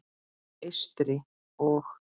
Eystri- og